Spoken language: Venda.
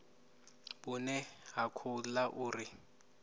vhune ha khou ḓa uri